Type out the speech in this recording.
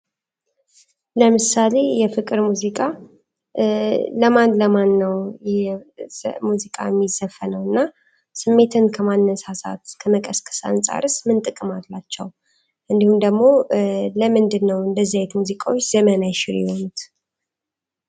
ለምሳሌ የፍቅር ሙዚቃ ለማን ለማን ነው ሙዚቃ የሚዘፈኑ እና ስሜትን ከማነሳሳት ከመቀስቀስ አንጻርስ ምን ጥቅም አላቸው እንዲሁም ደግሞ ለምንድን ነው እንደዚህ አይነት ሙዚቃዎች ዘመን የማይሽራቸው የሆኑት?